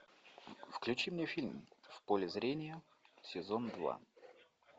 включи мне фильм в поле зрения сезон два